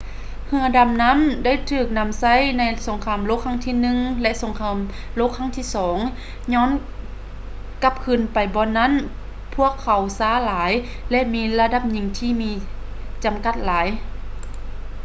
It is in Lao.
ເຮືອດຳນໍ້າໄດ້ຖືກນຳໃຊ້ໃນສົງຄາມໂລກຄັ້ງທີ i ແລະ ສົງຄາມໂລກຄັ້ງທີ ii ຍ້ອນກັບຄືນໄປບ່ອນນັ້ນພວກເຂົາຊ້າຫຼາຍ ແລະ ມີລະດັບຍິງທີ່ມີຈຳກັດຫຼາຍ